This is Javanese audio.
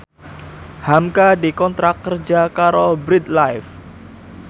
hamka dikontrak kerja karo Bread Life